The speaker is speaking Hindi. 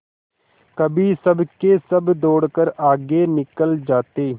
कभी सबके सब दौड़कर आगे निकल जाते